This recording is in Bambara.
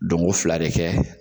Donko fila de kɛ.